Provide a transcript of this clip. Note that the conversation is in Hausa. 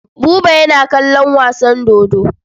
Buba yana kallon wasan dodo.